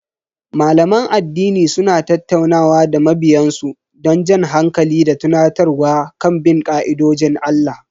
Malaman addini suna tattaunawa da mabiyan su don jan hankali da tunatarwa kan bin ka'idojin Allah.